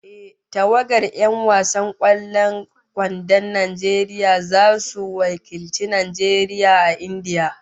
Ehh, tawagar 'yan wasan kwallon kwandon Najeriya zasu wakilci Najeriya a India